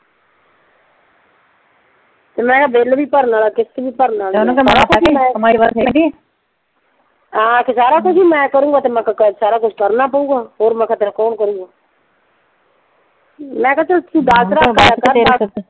ਤੇ ਮੈਂ ਕਿਹਾ ਬਿੱਲ ਵੀ ਭਰਨਾ ਆਲਾ ਕਿਸ਼ਤ ਵੀ ਭਰਨ ਆਲੀ ਆ ਹਾਂ ਤੇ ਸਾਰਾ ਕੁੱਛ ਈ ਮੈਂ ਕਰੂੰਗਾ ਤੇ ਮੈਂ ਕਿਹਾ ਸਾਰਾ ਕੁਛ ਤੇ ਕਰਨਾ ਪਊਗਾ। ਹੋਰ ਮਖਾ ਤੇਰਾ ਕੌਣ ਕਰੂਗਾ ਮੈਂ ਕਿਹਾ ਤੂੰ ਚੱਲ .